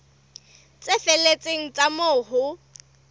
tse felletseng tsa moo ho